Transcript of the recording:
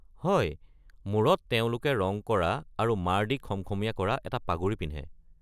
হয়! মূৰত তেওঁলোকে ৰং কৰা আৰু মাড় দি খমখমীয়া কৰা এটা পাগুৰি পিন্ধে।